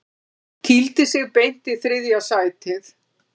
Kýldi sig beint í þriðja sætið